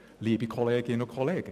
» Das Geld ist also vorhanden.